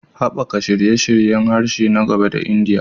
Haɓaka shirye-shiryen harshe na gaba a Indiya